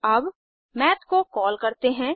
अब माथ को कॉल करते हैं